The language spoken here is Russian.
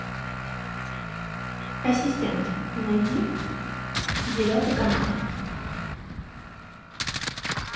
ассистент найди девятый канал